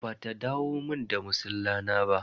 Ba ta dawo mun da masilla na ba.